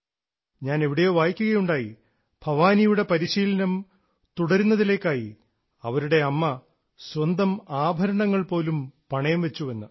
ഞാൻ എവിടെയോ വായിക്കുകയുണ്ടായി ഭവാനിയുടെ പരിശീലനം തുടരുന്നതിലേക്കായി അവരുടെ അമ്മ സ്വന്തം ആഭരണങ്ങൾ പോലും പണയം വെച്ചെന്ന്